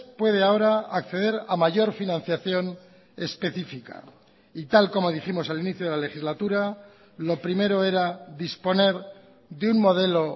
puede ahora acceder a mayor financiación específica y tal como dijimos al inicio de la legislatura lo primero era disponer de un modelo